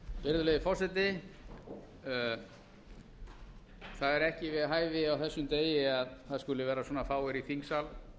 virðulegi forseti það er ekki við hæfi á þessum degi að það skulu vera svo fáir í þingsal